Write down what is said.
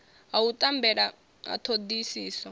ha u tambela ha thodisiso